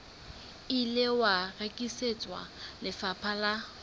ile wa rekisetswa lefapha la